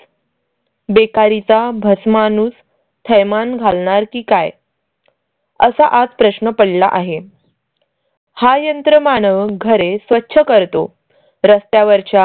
बेकारी चा बस माणूस थैमान घालणार की काय असा आज प्रश्न पडला आहे. हा यंत्रमानव घरे स्वच्छ करतो. रस्त्यावरच्या